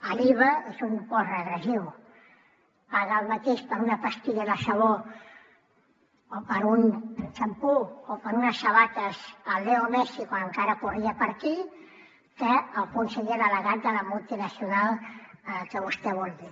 l’iva és un impost regressiu paga el mateix per una pastilla de sabó o per un xampú o per unes sabates el leo messi quan encara corria per aquí que el conseller delegat de la multinacional que vostè vulgui